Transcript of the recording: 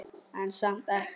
En samt ekki.